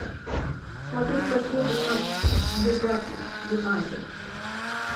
смотреть последний матч ньюкасл юнайтед